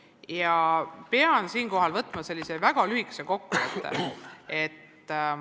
Ja ma pean siinkohal tegema sellise väga lühikese kokkuvõtte.